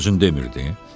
Dünən sən özün demirdin?